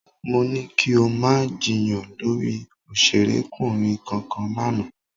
Mo ní kí o má jiyàn lórí òṣèrékùnrin kankan lánàá